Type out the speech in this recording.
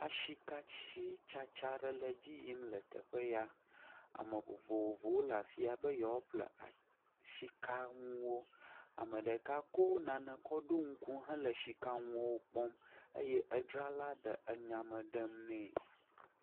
Katsi tsatsa ɖe le dzi yim ls teƒe ya. Ame vovovowo le afiya be yewoa ƒle sika nuwo. Ame ɖeka kɔ nane kɔ ɖɔ ŋku he ls sika ŋuawo kpɔm eye adzra ɖe enya me ne.